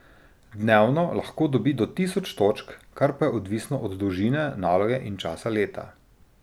Dnevno lahko dobi do tisoč točk, kar pa je odvisno od dolžine naloge in časa leta.